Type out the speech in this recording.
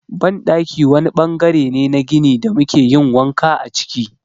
Banɗaki wani ɓangare ne na gini da muke yin wanka a ciki.